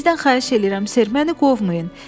Sizdən xahiş eləyirəm, ser, məni qovmayın.